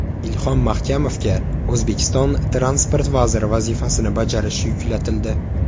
Ilhom Mahkamovga O‘zbekiston transport vaziri vazifasini bajarish yuklatildi.